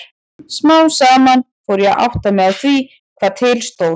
Smám saman fór ég að átta mig á því hvað til stóð.